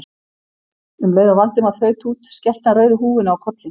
Um leið og Valdimar þaut út skellti hann rauðu húfunni á kollinn.